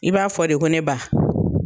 I b'a fɔ de ko ne ba.